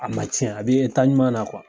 A ma cɛn a bi ɲuman na